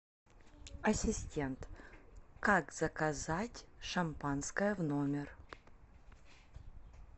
ассистент как заказать шампанское в номер